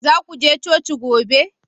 Za ku je coci gobe?